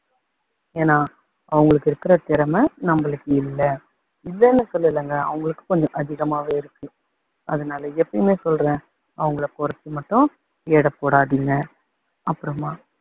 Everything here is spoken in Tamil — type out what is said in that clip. ஏன்னா அவங்களுக்கு இருக்க திறமை நம்மளுக்கு இல்ல இல்லைன்னு சொல்லலங்க அவங்களுக்கு கொஞ்சம் அதிகமாவே இருக்கு. அதனால எப்பயுமே சொல்றேன் அவங்களை குறைச்சு மட்டும் எடை போடாதீங்க.